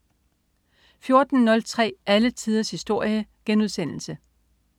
14.03 Alle tiders historie*